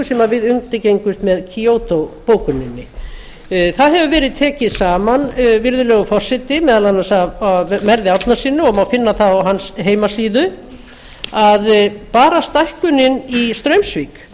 sem við undirgengumst með kyoto bókuninni það hefur verið tekið saman virðulegur forseti meðal annars af merði árnasyni og má finna það á hans heimasíðu að bara stækkunin í straumsvík